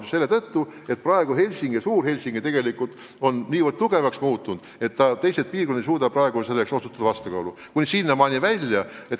Just selle tõttu, et praegu on Helsingi ja nn Suur-Helsingi nii tugevaks muutunud, et teised piirkonnad ei suuda nendega võistelda.